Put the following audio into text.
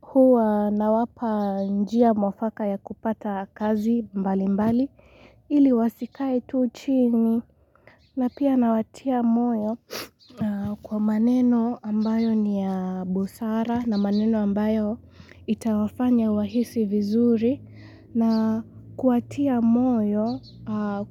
Huwa nawapa njia mwafaka ya kupata kazi mbali mbali ili wasikae tu chini na pia nawatia moyo kwa maneno ambayo ni ya busara na maneno ambayo itawafanya wahisi vizuri na kuwatia moyo